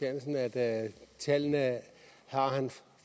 at tallene har han